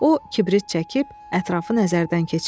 O kibrit çəkib ətrafı nəzərdən keçirdi.